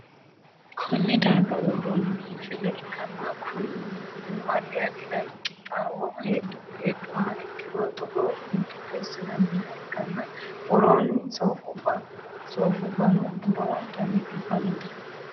konne darga worroonniri biinfille ikkanna, kuni biinfillino addi addi dani qixxaawo heedhuha ikkiro togoonni qixxeessi'nanniha ikkanna, worroonni soofubbano lowontanni biiffannote.